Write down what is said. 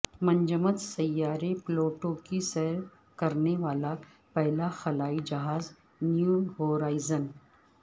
منجمد سیارے پلوٹو کی سیر کرنے والا پہلا خلائی جہاز نیو ہورائزن